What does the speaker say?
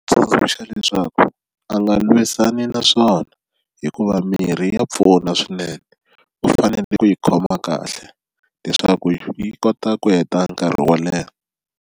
Tsundzuxa leswaku a nga lwisani naswona hikuva mirhi ya pfuna swinene u fanele ku yi khoma kahle leswaku yi kota ku heta nkarhi wo leha.